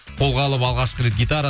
қолға алып алғашқы рет гитара